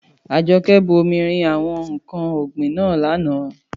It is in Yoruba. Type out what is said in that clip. Àjọkẹ́ bu omi rin àwọn ǹkan ọ̀gbìn náà lánàá.